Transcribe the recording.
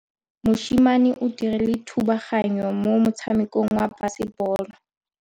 Mosimane o dirile thubaganyô mo motshamekong wa basebôlô.